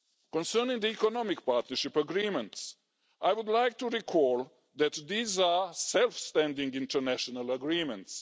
Concerning the economic partnership agreements, I would like to recall that these are self-standing international agreements.